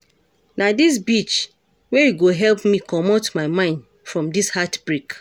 Na dis beach wey I go help me comot my mind from dis heart-break.